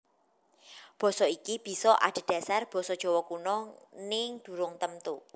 Basa iki bisa adhedhasar basa Jawa Kuna nging durung temtu